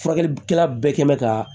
Furakɛlikɛla bɛɛ kɛ mɛ ka